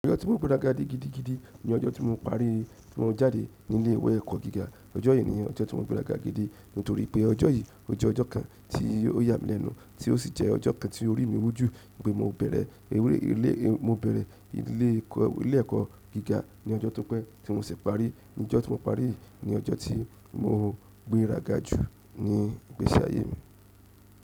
Ọjọ́ tí mo gbéra ga di gidigidi ni ọjọ́ tí mo parí tí mo jáde nílé ìwé ẹ̀kọ́ gíga. Ọjọ́ yìí ni ọjọ́ tí mo gbéra ga gidi nítorí pé ọjọ́ yìí, o jẹ ọjọ́ kan tí ó yà mí lẹ́nu tí ó sì jẹ́ ọjọ́ kan tí orí mi wójú pé mo bẹ̀rẹ̀ eré ilé, mo bẹ̀rẹ̀ ilé ẹ̀kọ́ gíga ní ọjọ́ tó pẹ́ tí mo sì parí. Ọjọ́ tí mo parí ni ọjọ́ tí mo gbéra ga jù ní ìgbésí ayé mi.